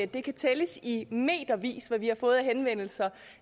det kan tælles i metervis hvad vi har fået henvendelser